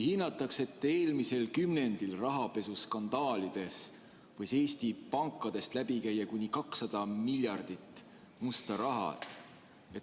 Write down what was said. Hinnatakse, et eelmise kümnendi rahapesuskandaalides võis Eesti pankadest läbi käia kuni 200 miljardit eurot musta raha.